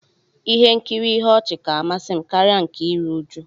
Ihe nkiri ihe ọchị ka amasi m karia nke iri uju